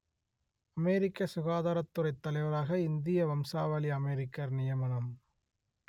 அமெரிக்க சுகாதாரத்துறைத் தலைவராக இந்திய வம்சாவளி அமெரிக்கர் நியமனம்